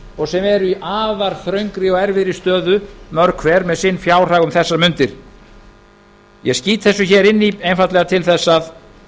og sem eru í afar þröngri og erfiðri stöðu mörg hver með sinn fjárhag um þessar mundir ég skýt þessu hér inn í einfaldlega til þess að